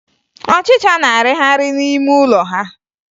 Ọchịcha na-arịgharị n'ime ụlọ ha